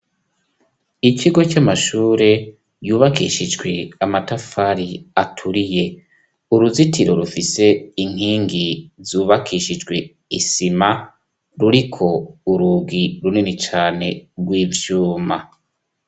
Ikigo c'amashure yubakishijwe amatafari aturiye uruzitiro rufise inkingi zubakishijwe isima ruriko urugi runini cane rw'ivyuma.